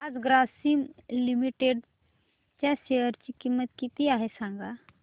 आज ग्रासीम लिमिटेड च्या शेअर ची किंमत किती आहे सांगा